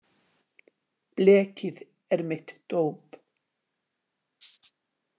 Blekið er mitt dóp.